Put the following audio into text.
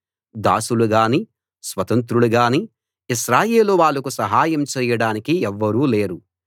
దాసులుగాని స్వతంత్రులుగాని ఇశ్రాయేలు వాళ్లకు సహాయం చెయ్యడానికి ఎవ్వరూ లేరు